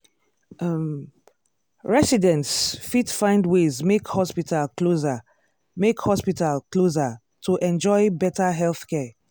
um residents fit find ways make hospital closer make hospital closer to enjoy better healthcare.